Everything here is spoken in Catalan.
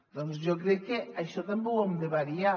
doncs jo crec que això també ho hem de variar